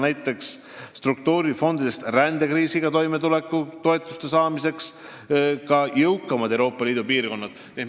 Näiteks võiks rändekriisiga toimetuleku toetust saada ka jõukamad Euroopa Liidu piirkonnad.